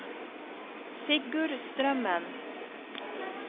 Sigurd Strømmen